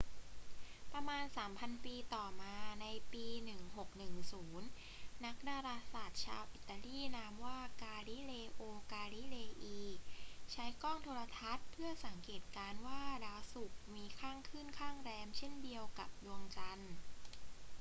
ประมาณสามพันปีต่อมา ในปี 1610 นักดาราศาสตร์ชาวอิตาลีนามว่า กาลิเลโอ กาลิเลอี ใช้กล้องโทรทรรศน์เพื่อสังเกตการณ์ว่าดาวศุกร์มีข้างขึ้นข้างแรมเช่นเดียวกับดวงจันทร์